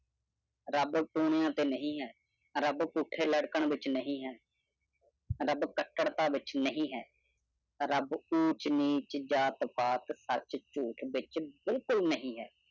ਰੱਬ ਟੂਣਿਆਂ ਤੇ ਨਈ ਆਂ ਰਬ ਪੁੱਠੇ ਲਟਕਣ ਵਿਚ ਨੀ ਆ ਰਬ ਕਟਰਤਾ ਵਿਚ ਨੀ ਆ ਰਬ ਉਂਚ ਨੀਚ ਜਾਤ ਪੈਟ ਝੂਠ ਵਿਚ ਬਿਲਕੁਲ ਨਈ ਆ